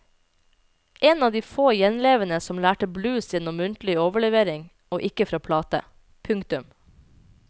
En av de få gjenlevende som lærte blues gjennom muntlig overlevering og ikke fra plate. punktum